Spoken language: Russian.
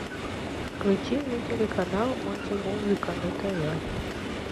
включи мне телеканал мультимузыка на тв